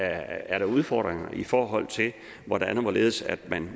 er der udfordringer i forhold til hvordan og hvorledes